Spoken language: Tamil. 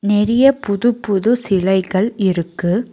நெறிய புது புது சிலைகள் இருக்கு.